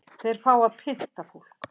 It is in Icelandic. Þeir fá að pynta fólk